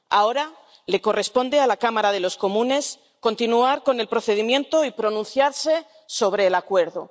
Ahora le corresponde a la Cámara de los Comunes continuar con el procedimiento y pronunciarse sobre el acuerdo.